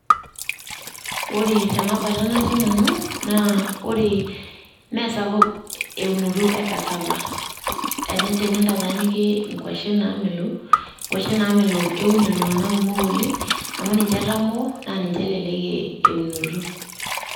Ore tenabata natii nanu, na Ore mesapuk eunoto e carava. Tenintanyanyukie inkwashen naamelook, nkwashen namelook eun iltung'anak komok leng' ,amu ninje etamoo na ninche elelek eunoto.